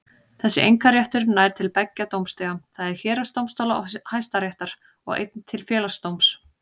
Þessi einkaréttur nær til beggja dómstiga, það er héraðsdómstóla og Hæstaréttar, og einnig til Félagsdóms.